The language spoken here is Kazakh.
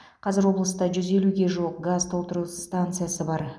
қазір облыста жүз елуге жуық газ толтыру станциясы бар